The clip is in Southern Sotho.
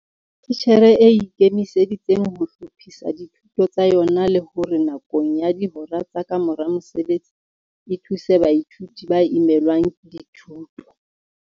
Titjhere e ikemiseditseng ho hlophisa dithuto tsa yona le hore nakong ya dihora tsa ka mora mosebetsi e thuse baithuti ba imelwng ke dithuto.